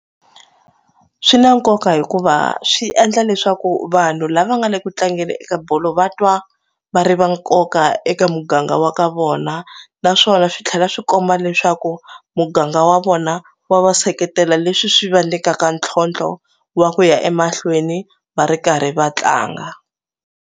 Swi na nkoka hikuva swi endla leswaku vanhu lava nga le ku tlangeni eka bolo va twa va ri va nkoka eka muganga wa ka vona na swona swi tlhela swi komba leswaku muganga wa vona wa va seketela leswi swi va nyikaka ntlhontlho wa ku ya emahlweni va ri karhi va tlanga.